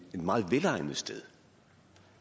meget velegnet sted